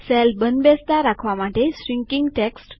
cell બંધ બેસતા રાખવા માટે શ્રીન્કીંગ ટેક્સ્ટ